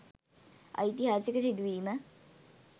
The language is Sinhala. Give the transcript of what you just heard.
ඓතිහාසික සිදුවීම